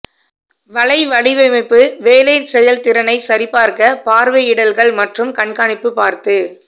வலை வடிவமைப்பு வேலை செயல்திறனை சரிபார்க்க பார்வையிடல்கள் மற்றும் கண்காணிப்பு பார்த்து